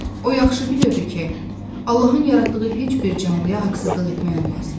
O yaxşı bilirdi ki, Allahın yaratdığı heç bir canlıya haqsızlıq etmək olmaz.